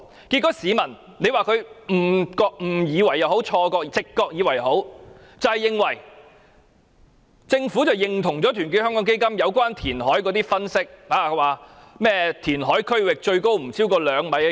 結果，市民會誤以為或直覺認為政府認同團結香港基金有關填海的分析，不斷引用填海區域海浪高度不超過2米的說法。